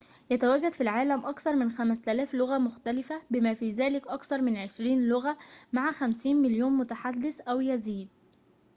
يتواجد في العالم أكثر من 5000 لغة مختلفة بما في ذلك أكثر من عشرين لغة مع 50 مليون متحدث أو يزيد